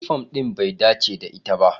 Yunifom ɗin bai dace da ita ba.